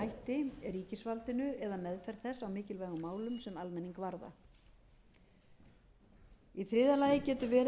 hætti ríkisvaldinu eða meðferð þess á mikilvægum málum sem almenning varða í þriðja lagi getur verið